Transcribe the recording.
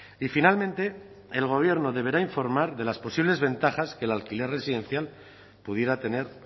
y finalmente el gobierno deberá informar de las posibles ventajas que el alquiler residencial pudiera tener